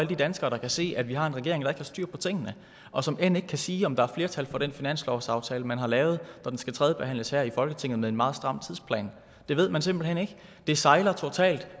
de danskere der kan se at vi har en regering der har styr på tingene og som end ikke kan sige om der er flertal for den finanslovsaftale man har lavet når den skal tredjebehandles her i folketinget med en meget stram tidsplan det ved man simpelt hen ikke det sejler totalt